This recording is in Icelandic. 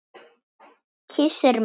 Kyssir mig.